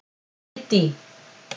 Kiddý